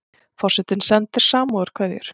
Forsetinn sendir samúðarkveðjur